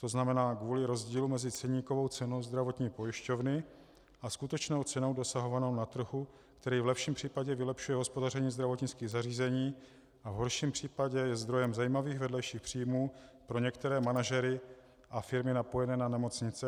To znamená kvůli rozdílu mezi ceníkovou cenou zdravotní pojišťovny a skutečnou cenou dosahovanou na trhu, který v lepším případě vylepšuje hospodaření zdravotnických zařízení a v horším případě je zdrojem zajímavých vedlejších příjmů pro některé manažery a firmy napojené na nemocnice.